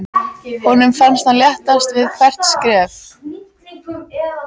Honum fannst hann léttast við hvert skref.